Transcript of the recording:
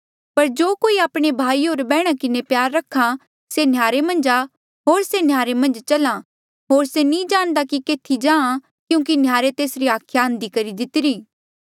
पर जो कोई आपणे भाई होर बैहणा किन्हें बैर रख्हा से नह्यारे मन्झ आ होर से नह्यारे मन्झ चल्हा होर से नी जाणदा कि केथी जाहाँ क्यूंकि नह्यारे तेसरी हाखिया अंधी करी दितिरी